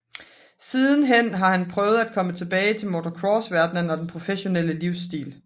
Siden hen har han prøvet at komme tilbage til motocrossverdenen og den professionelle livsstil